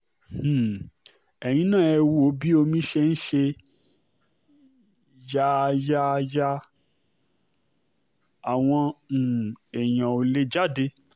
um ẹ̀yin náà ẹ wo bí omi ṣe ń ṣe yààyààyà àwọn um èèyàn ò lè jáde